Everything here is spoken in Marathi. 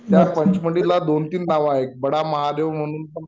त्या पचमढीला दोन-तीन नाव आहेत बडा महादेव म्हणून पण